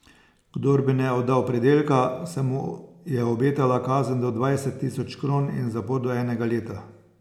Kdor bi ne oddal pridelka, se mu je obetala kazen do dvajset tisoč kron in zapor do enega leta.